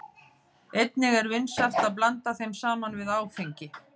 Einnig er vinsælt að blanda þeim saman við áfengi.